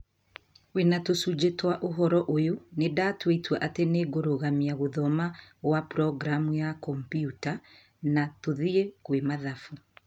wĩna tũcunjĩ twa ũhoro ũyũ, nĩnda twa itua atĩ nĩngũrũgamia gũthoma gwa programu ya kombiuta na tũthie kwĩ mathabu